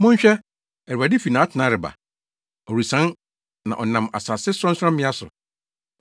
Monhwɛ! Awurade fi nʼatenae reba; ɔresian na ɔnam asase sorɔnsorɔmmea so.